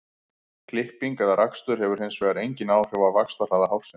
klipping eða rakstur hefur hins vegar engin áhrif á vaxtarhraða hársins